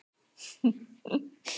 Edvard, hvaða leikir eru í kvöld?